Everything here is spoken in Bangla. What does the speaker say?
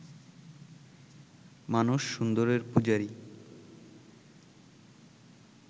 মানুষ সুন্দরের পূজারি